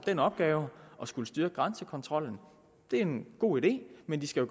den opgave at skulle styrke grænsekontrollen det er en god idé men de skal